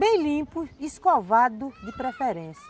Bem limpo e escovado de preferência.